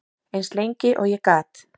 Eins lengi og ég gat.